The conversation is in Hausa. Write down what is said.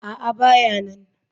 A'a, ba ya nan.